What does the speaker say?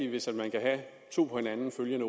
hvis man kan have to på hinanden følgende